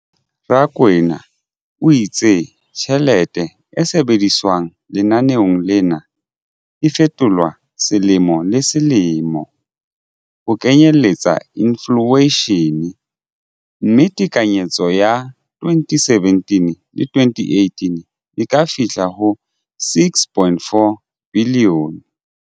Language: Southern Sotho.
Rakwena o itse tjhelete e sebediswang lenaneong lena e fetolwa selemo le selemo ho kenyelletsa infleishene, mme tekanyetso ya 2017-18 e ka fihla ho R6.4 bilione.